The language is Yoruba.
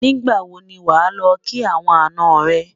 nígbà wò ní wà ló kí àwọn àná rè